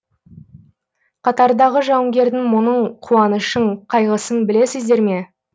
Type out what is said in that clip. қатардағы жауынгердің мұңын қуанышын қайғысын білесіздер ме